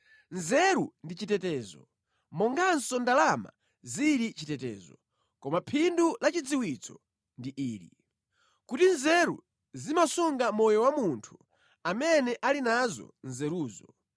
Nzeru ndi chitetezo, monganso ndalama zili chitetezo, koma phindu la chidziwitso ndi ili: kuti nzeru zimasunga moyo wa munthu amene ali nazo nzeruzo.